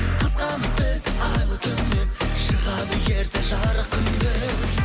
қызғанып бізді айлы түннен шығады ерте жарық күн де